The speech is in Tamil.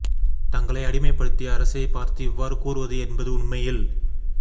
தங்களை அடிமைப் படுத்திய அரசை பார்த்து இவ்வாறு கூறுவது என்பது உண்மையில்